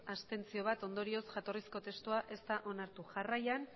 abstentzioak bat ondorioz jatorrizko testua ez da onartu jarraian